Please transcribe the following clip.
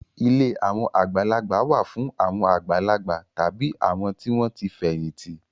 Ilé àwọn àgbàlagbà wà fún àwọn àgbàlagbà tàbí àwọn tí wọ́n ti fẹ̀yìntì.